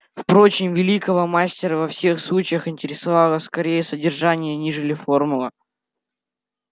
впрочем великого мастера во всех случаях интересовало скорее содержание нежели форма